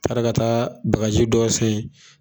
Taara ka taa dɔw